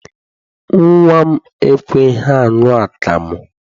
Nnwa m ekweghị aṅụ akamụ.